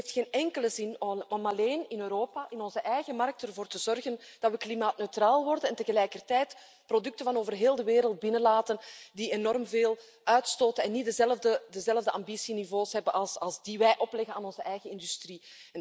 Het heeft geen enkele zin om alleen in Europa, in onze eigen markt, ervoor te zorgen dat we klimaatneutraal worden, en tegelijkertijd producten van over heel de wereld binnen te laten die enorm veel uitstoten en niet dezelfde ambitieniveaus hebben als de niveaus die wij opleggen aan onze eigen industrie.